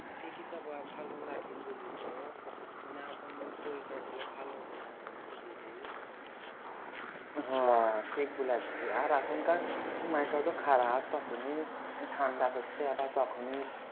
বুঝলি তো মানে এখন শরীর খারাপ হলে ভালো হতে চাই না বুঝলি রে হ ঠিক বুলাচ্ছি আর এখনকার সময়টাও তো খারাপ তখন এ ঠাণ্ডা পড়ছে আবার তখন এ